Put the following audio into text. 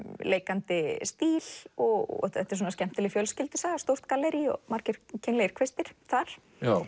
leikandi stíl og þetta er skemmtileg fjölskyldusaga stórt gallerí og margir kynlegir kvistir þar